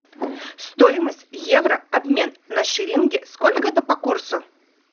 стоимость евро обмен на шиллинги сколько это по курсу